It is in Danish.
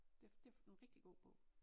Det det en rigtig god bog